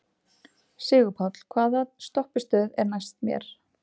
Sigurpáll, hvaða stoppistöð er næst mér?